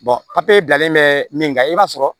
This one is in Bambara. papiye bilalen bɛ min kan i b'a sɔrɔ